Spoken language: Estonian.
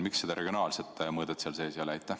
Miks seda regionaalset mõõdet seal sees ei ole?